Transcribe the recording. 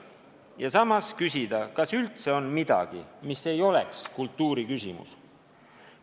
Ja samas küsida: kas üldse on midagi, mis ei ole kultuuri küsimus?